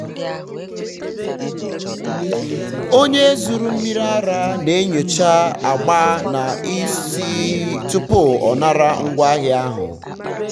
onye zụrụ mmiri ara na-enyocha agba na ísì tupu ọ nara ngwaahịa ahụ.